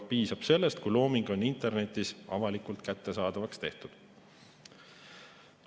Piisab sellest, kui looming on internetis avalikult kättesaadavaks tehtud.